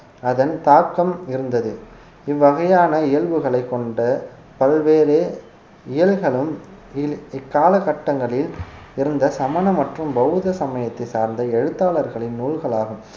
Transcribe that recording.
அதன் தாக்கம் இருந்தது இவ்வகையான இயல்புகளைக் கொண்ட பல்வேறு இயல்களும் இல்~ இக்காலகட்டங்களில் இருந்த சமண மற்றும் பௌத்த சமயத்தை சார்ந்த எழுத்தாளர்களின் நூல்களாகும்